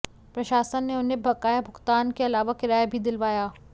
प्रशासन ने उन्हें बकाया भुगतान के अलावा किराया भी दिलवाया